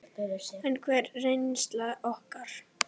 En hver er reynsla okkar?